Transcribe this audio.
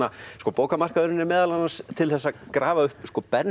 bókamarkaðurinn er meðal annars til þess að grafa upp